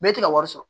Mɛ e tɛ ka wari sɔrɔ